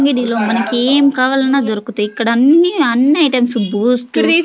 అంగిడిలో మనకేం కావాలన్నా దొరుకుతయ్ ఇక్కడ అన్నీ అన్నీ ఐటమ్సు బూస్టు --